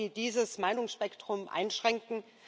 Wollen Sie dieses Meinungsspektrum einschränken?